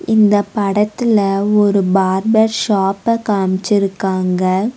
இந்த படத்துல ஒரு பார்பர் ஷாப்ப காமிச்சிருகாங்க.